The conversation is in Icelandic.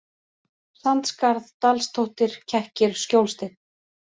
Sandskarð, Dalstóttir, Kekkir, Skjólsteinn